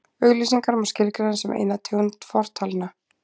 auglýsingar má skilgreina sem eina tegund fortalna